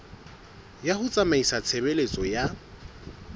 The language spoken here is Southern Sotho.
ya ho tsamaisa tshebeletso ya